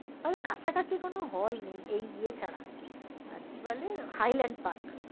তবে কাছাকাছি কোনো hall নেই এই ই এ ছাড়া আর কি বলে hylandpark